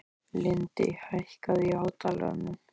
Lindi, hækkaðu í hátalaranum.